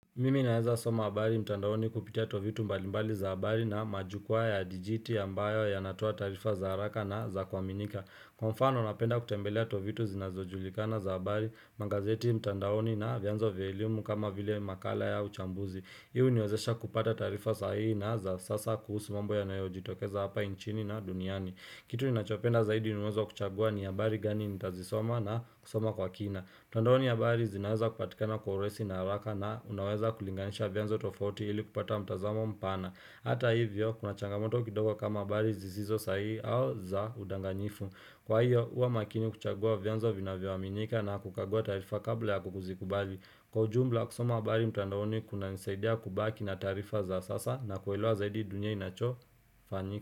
Mimi naweza soma abari mtandaoni kupitia tovuti mbalimbali za abari na majukwaa ya dijiti ambayo ya natoa taarifa za haraka na za kuaminika Kwa mfano unapenda kutembelea tovitu zinazojulikana za abari, mangazeti mtandaoni na vianzo veliumu kama vile makala ya uchambuzi Hii u niwezesha kupata taarifa sahihi na za sasa kuhusu mambo ya nayo jitokeza hapa inchini na duniani Kitu ni nachopenda zaidi ni uwezo wa kuchagua ni abari gani nitazisoma na kusoma kwa kina mtandaoni habari zinaweza kupatikana kwa urahisi na haraka na unaweza kulinganisha vyanzo tofauti ili kupata mtazamo mpana. Hata hivyo, kuna changamoto kidogo kama habari zizizo sahi au za udanganyifu. Kwa hiyo, uwa makini kuchagua vyanzo vina vyoaminika na kukagua taarifa kabla ya kukuzikubali. Kwa ujumla, kusoma habari mtandaoni kuna nisaidia kubaki na taarifa za sasa na kuelewa zaidi duniani inacho fanyika.